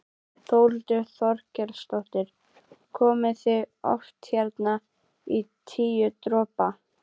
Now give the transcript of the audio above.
Þórhildur Þorkelsdóttir: Komið þið oft hérna á Tíu dropa?